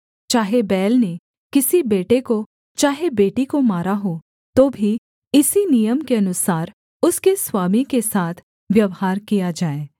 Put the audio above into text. चाहे बैल ने किसी बेटे को चाहे बेटी को मारा हो तो भी इसी नियम के अनुसार उसके स्वामी के साथ व्यवहार किया जाए